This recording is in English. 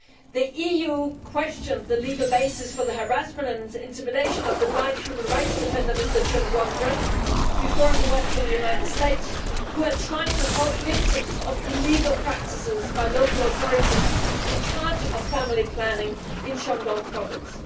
The EU questioned the legal basis for the harassment and intimidation of the blind human rights defender Mr Chen Guangcheng, before he left for the United States, who had tried to help victims of illegal practices by local authorities in charge of family planning in Shandong province.